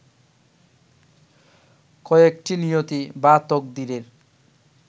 কয়েকটি নিয়তি বা তকদিরের